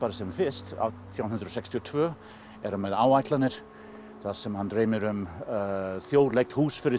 sem fyrst átján hundruð sextíu og tvö er hann með áætlanir þar sem hann dreymir um þjóðlegt hús fyrir